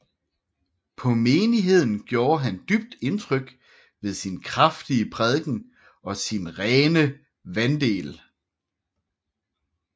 På menigheden gjorde han dybt indtryk ved sin kraftige prædiken og sin rene vandel